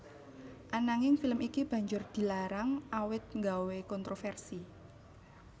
Ananging film iki banjur dilarang awit nggawé kontroversi